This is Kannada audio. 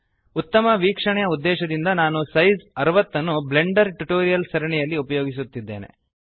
ಉತ್ತಮ ವೀಕ್ಷಣೆಯ ಉದ್ದೇಶದಿಂದ ನಾನು ಸೈಜ್ 60 ಯನ್ನು ಬ್ಲೆಂಡರ್ ಟ್ಯುಟೋರಿಯಲ್ಸ್ ಸರಣಿಯಲ್ಲಿ ಉಪಯೋಗಿಸುತ್ತಿದ್ದೇನೆ